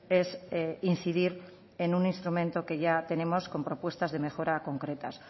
es incidir en un instrumento que ya tenemos con propuestas de mejora concretas